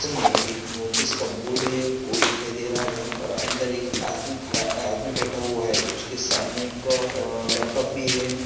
में एक नोटिस का बोर्ड है वो दिखाई दे रहा है और अंदर एक आदमी खडा अ आदमी बैठा हुआ है उसके सामने एक लपटॉप भी है।